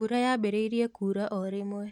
Mbura yambĩrĩirie kura o rĩmwe